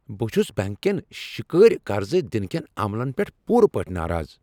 بہٕ چھس بیٚنٛک کیٚن شکٲرۍ قرض دنہٕ کیٚن عملن پیٹھ پوٗرٕ پٲٹھۍ ناراض۔